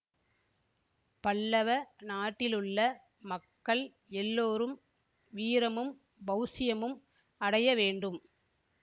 பல்லவ நாட்டிலுள்ள மக்கள் எல்லோரும் வீரமும் பௌஷ்யமும் அடைய வேண்டும்